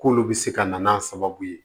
K'olu bɛ se ka na n'a sababu ye